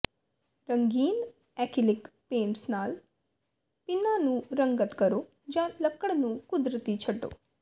ਰੰਗੀਨ acrylic paints ਨਾਲ ਪਿੰਨਾਂ ਨੂੰ ਰੰਗਤ ਕਰੋ ਜਾਂ ਲੱਕੜ ਨੂੰ ਕੁਦਰਤੀ ਛੱਡੋ